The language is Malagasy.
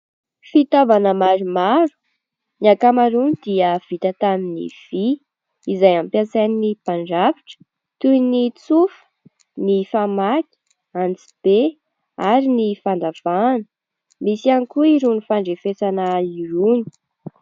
Fitaovana maromaro. Ny ankamaroany dia vita tamin'ny vy izay ampiasain'ny mpandrafitra toy ny tsofa, ny famaky, antsibe ary ny fandavahana. Misy ihany koa irony fandrefesana irony.